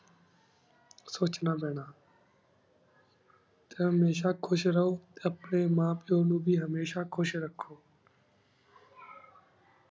ਸੋਚਣਾ ਪੀਨਾ ਟੀ ਹਮੇਸ਼ਾ ਖੁਸ਼ ਰਹੁ ਟੀ ਅਪਨੀ ਮਾਂ ਪਿਉ ਨੂ ਵੇ ਹਮੇਸ਼ਾ ਖੁਸ਼ ਰਖੋ